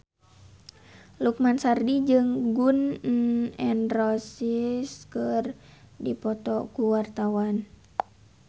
Lukman Sardi jeung Gun N Roses keur dipoto ku wartawan